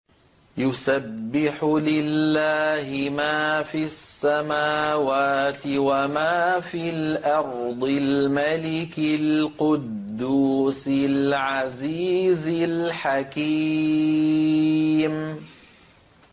يُسَبِّحُ لِلَّهِ مَا فِي السَّمَاوَاتِ وَمَا فِي الْأَرْضِ الْمَلِكِ الْقُدُّوسِ الْعَزِيزِ الْحَكِيمِ